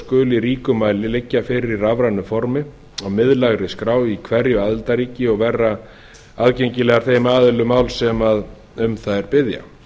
skuli í ríkum mæli liggja fyrir í rafrænu formi á miðlægri skrá í hverju aðildarríki og vera aðgengilegar þeim aðilum máls sem um þær biðja